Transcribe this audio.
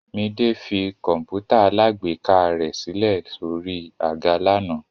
Midé fi kọ̀ǹpútà alágbèéká rẹ̀ sílẹ̀ sórí àga lánàá.